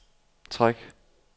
træk